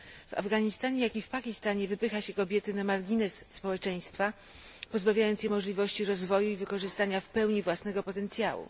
W Afganistanie jak i w Pakistanie wypycha się kobiety na margines społeczeństwa, pozbawiając je możliwości rozwoju i wykorzystania w pełni własnego potencjału.